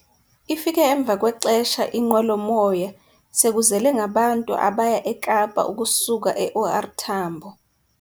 Ifike emva kwexesha inqwelomoya sekuzele ngabantu abaya eKapa ukusuka eOR Tambo.